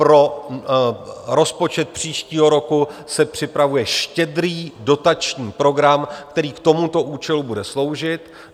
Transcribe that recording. Pro rozpočet příštího roku se připravuje štědrý dotační program, který k tomuto účelu bude sloužit.